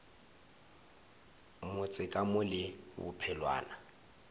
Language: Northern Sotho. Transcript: motse ka mo le bophelwana